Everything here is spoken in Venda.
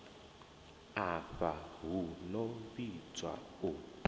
afha hu no vhidzwa u